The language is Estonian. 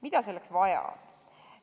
Mida selleks vaja on?